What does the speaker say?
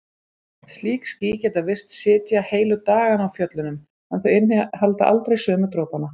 Slík ský geta virst sitja heilu dagana á fjöllunum en þau innihalda aldrei sömu dropana.